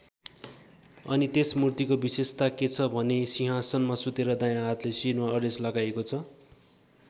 अनि त्यस मूर्तिको विशेषता के छ भने सिंहासनमा सुतेर दायाँ हातले शिरलाई अडेस लगाइएको छ।